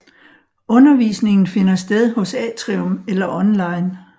Undervisningen finder sted hos Atrium eller online